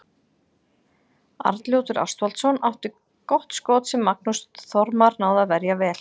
Arnljótur Ástvaldsson átti gott skot sem Magnús Þormar náði að verja vel.